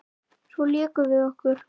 Svo lékum við okkur.